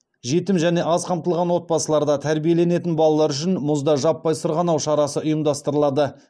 жетім және аз қамтылған отбасыларда тәрбиеленетін балалар үшін мұзда жаппай сырғанау шарасы ұйымдастырылады